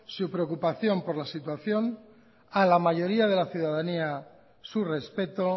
su preocupación por la situación a la mayoría de la ciudadanía su respeto